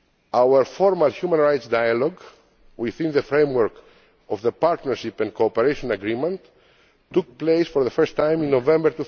Our formal human rights dialogue, within the framework of the Partnership and Cooperation Agreement took place for the first time in November